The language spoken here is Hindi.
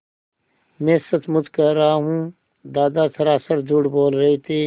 मैं सचमुच कह रहा हूँ दादा सरासर झूठ बोल रहे थे